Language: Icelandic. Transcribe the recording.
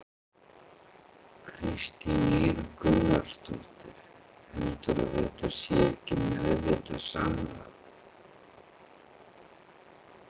Kristín Ýr Gunnarsdóttir: Heldurðu að þetta sé ekki meðvitað samráð?